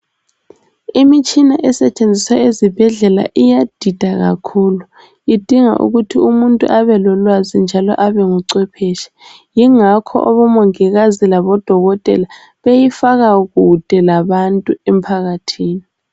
Imitshina esetshenziswa ezibhedlela iyadida kakhulu idinga ukuthi umuntu abelolwazi njalo abengucwephetshe . Yingakho abomongikazi labodokotela beyifaka kude labantu emphakathini.